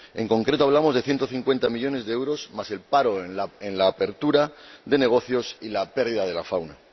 En concreto, hablamos de 150 millones de euros, más el paro en la apertura de negocios y la pérdida de fauna.